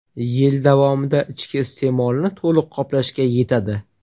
Yil davomida ichki iste’molni to‘liq qoplashga yetadi.